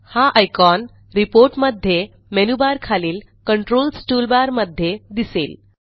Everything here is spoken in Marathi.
हा आयकॉन रिपोर्ट मध्ये मेनूबारखालील कंट्रोल्स टूलबार मध्ये दिसेल